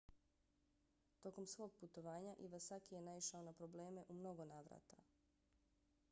tokom svog putovanja iwasaki je naišao na probleme u mnogo navrata